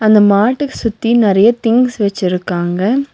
அந்த மாட்டு சுத்தி நறைய திங்ஸ் வெச்சிருக்காங்க.